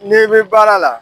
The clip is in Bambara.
N'i bɛ baara la